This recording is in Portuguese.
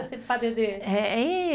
Fala um pouco desse padedê.